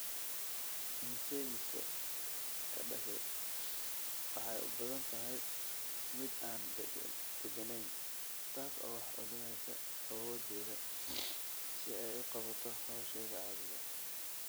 Insaymiska ka dhashay waxay u badan tahay mid aan degganayn, taas oo wax u dhimaysa awooddeeda si ay u qabato hawsheeda caadiga ah.